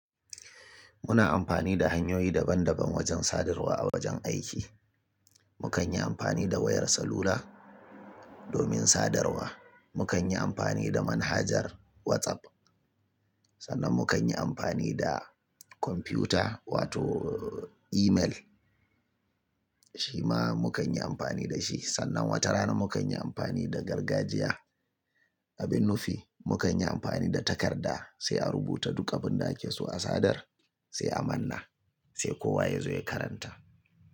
Muna amfani da hanyoyi daban daban wajen sadarwa a wajen aiki. Mukan yi amfani da wayar salula domin sadarwa. Mukan yi amfani da manhajar WhatsApp, sannan mu kan yi amfani da kwamfuta wato email shi ma mu kan yi amfani da shi. Sannan wata rana mu kan yi amfani da gargajiya, abin nufi mu kan yi amfani da takarda sai a rubuta duka abin da ake so a sadar sai a manna sai kowa ya zo ya karanta.